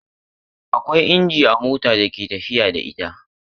Akwai inji a mota da ke tafiyar da ita.